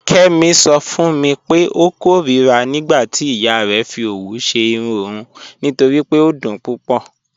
Kẹmi sọ fun mi pẹ̀ ọ kọ̀rira nígbàtí iya rẹ fì ọwù ṣẹ́ irùn ọun nítorí pé ọ dún púpọ̀.